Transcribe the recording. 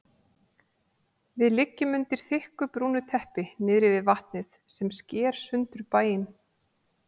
Við liggjum undir þykku brúnu teppi niðri við vatnið sem sker sundur bæinn.